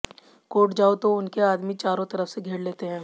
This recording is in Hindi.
कोर्ट जाओ तो उनके आदमी चारों तरफ से घेर लेते हैं